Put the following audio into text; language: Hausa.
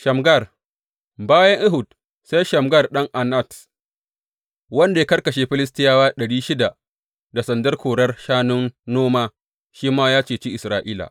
Shamgar Bayan Ehud, sai Shamgar ɗan Anat, wanda ya karkashe Filistiyawa ɗari shida da sandar korar shanun noma, shi ma ya ceci Isra’ila.